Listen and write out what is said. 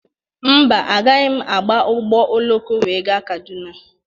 Mba, agaghị m aba ụgbọ oloko wee gaa Kaduna.